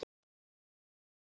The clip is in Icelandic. Það var ekið á þá.